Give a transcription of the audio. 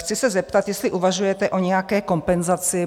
Chci se zeptat, jestli uvažujete o nějaké kompenzaci?